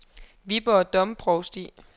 Viborg Domprovsti